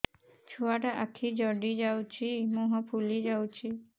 ଛୁଆଟା ଆଖି ଜଡ଼ି ଯାଉଛି ମୁହଁ ଫୁଲି ଯାଉଛି